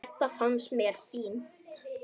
Þetta fannst mér fínt.